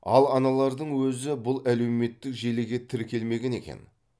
ал аналардың өзі бұл әлеуметтік желіге тіркелмеген екен